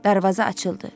Darvaza açıldı.